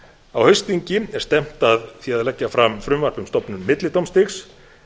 á haustþingi er stefnt að því að leggja fram frumvarp um stofnun millidómstigs